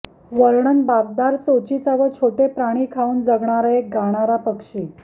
वर्णन बाकदार चोचीचा व छोटे प्राणी खाऊन जगणारा एक गाणारा पक्षी